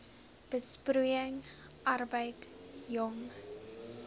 besproeiing arbeid jong